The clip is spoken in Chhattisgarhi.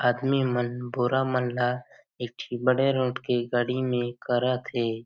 आदमी मन बोरा मन ला एक ठी बड़े रोड के गाड़ी म करत हे।